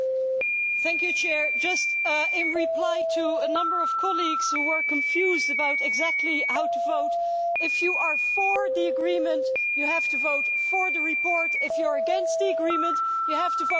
Mr President, in reply to a number of colleagues who were confused about exactly how to vote if you are for the agreement you have to vote for the report and if you are against the agreement you have to vote against it.